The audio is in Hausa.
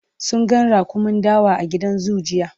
sun ga raƙumin dawa a gidan zoo jiya